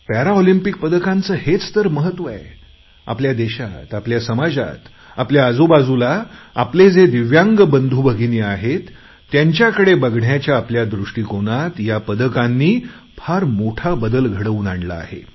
Paralympics पदकांचे हेच तर महत्व आहे आपल्या देशात आपल्या समाजातआपल्या आजूबाजूला आपले जे दिव्यांग बंधूभगिनी आहेत त्यांच्याकडे बघण्याच्या आपल्या दृष्टीकोनात या पदकांनी फार मोठा बदल घडवून आणला आहे